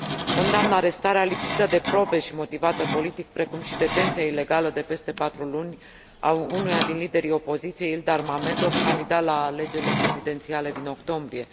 Condamn arestarea lipsită de probe și motivată politic, precum și detenția ilegală, de peste patru luni, a unuia din liderii opoziției, Ilgar Mammadov, candidat la alegerile prezidențiale din octombrie.